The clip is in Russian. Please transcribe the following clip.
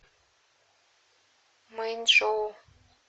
мэнчжоу